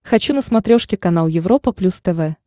хочу на смотрешке канал европа плюс тв